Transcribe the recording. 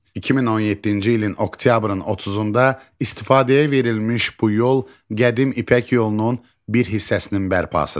2017-ci ilin oktyabrın 30-da istifadəyə verilmiş bu yol qədim İpək Yolunun bir hissəsinin bərpasıdır.